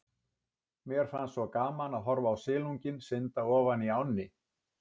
Mér fannst svo gaman að horfa á silunginn synda ofan í ánni.